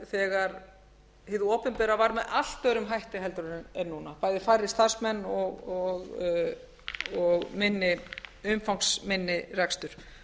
þegar hið opinbera var með allt öðrum hætti en það er núna bæði færri starfsmenn og umfangsminni rekstur